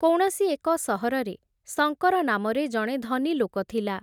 କୌଣସି ଏକ ସହରରେ, ଶଙ୍କର ନାମରେ ଜଣେ ଧନୀ ଲୋକ ଥିଲା ।